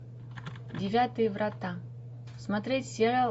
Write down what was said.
девятые врата смотреть сериал